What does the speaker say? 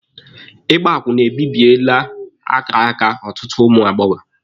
Ịgba akwụna ebibiele akara aka ụtụtụ ụmụ agbọbịa.